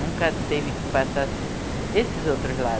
Nunca teve que passar esses outros